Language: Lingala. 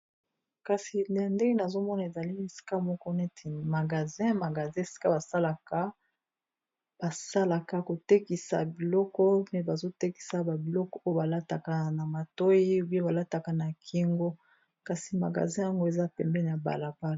Kasi na ndenge nazomona ezali esika moko neti magasin magasin esika basalaka basalaka kotekisa biloko mais bazotekisa babiloko oyo balataka na matoyi ou bien balataka na kingo kasi magasin yango eza pembeni ya balapala.